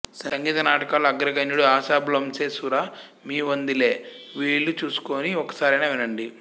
సంగీత నాటకాల్లో అగ్రగణ్యుడు ఆశా భోంస్లే శురా మీ వందిలే వీలు చూసుకుని ఒక్క సారైనా వినండి